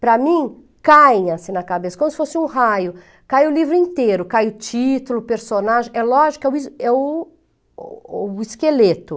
Para mim, caem assim na cabeça, como se fosse um raio, cai o livro inteiro, cai o título, o personagem, é lógico que é o o o o esqueleto.